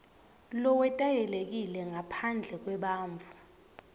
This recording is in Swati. lowetayelekile ngaphandle kwebantfu